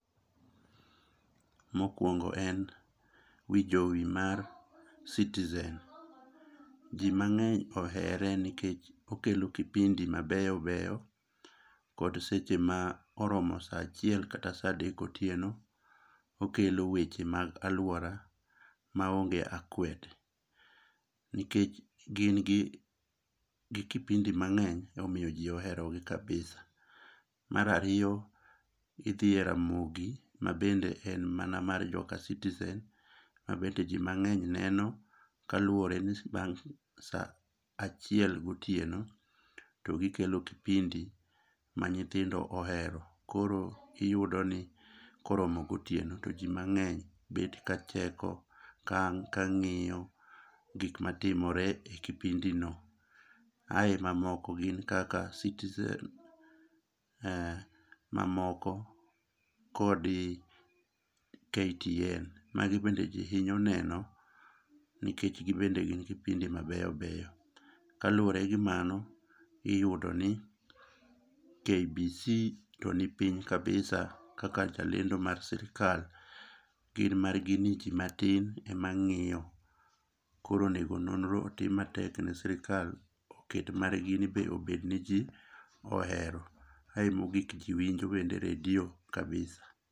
Mokuongo en wi jowi mar Citizen. Ji mang'eny ohere nikech okelo kipindi mabeyo beyo, kod seche ma koromo saa achiel kata saa adek otieno okelo weche mag aluora maonge akwede. Nikech gin gi kipindi mang'eny ema omiyo ji oherogi kabisa. Mar ariyo nitie Ramogi mabende en mana mar joka citizen ma bende ji mang'eny neno kaluwore saa achiel gotieno to gikelo kipindi ma nyithindo ohero. Koro iyudo ni koromo gotieno to ji mang'eny bet ka cheko, ka ang' kang'iyo gik matimore e kipindino ae mamoko gin kaka citizen, mamoko kodi KTN magi bende ji hinyo neno nikech gin bende gin kipindi mabeyo beyo. Kaluwore gi mano, iyudo ni KBC to ni piny kabisa kaka jalendo mar sirkal, gin margini ji matin ema ng'iyo to koro onego nonro otim matek ne sirkal oket margini be obed maji ohero. Kae mogik ji winjo bende redio kabisa.